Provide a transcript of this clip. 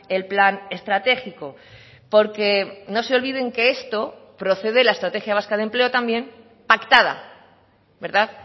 el plan estratégico porque no se olviden que esto procede la estrategia vasca de empleo también pactada verdad